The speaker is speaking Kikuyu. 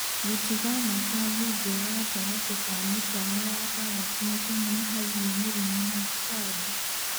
Gũtiga nabathi njega gatagatĩ ka mĩtaro ya karati nĩkũnyihagai mĩrimũ na tũtambi.